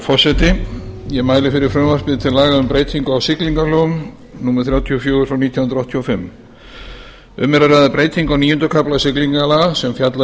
forseti ég mæli fyrir frumvarpi til laga um breytingu á siglingalögum númer þrjátíu og fjögur nítján hundruð áttatíu og fimm um er að ræða breytingu á níunda kafla siglingalaga sem fjallar